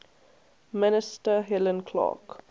minister helen clark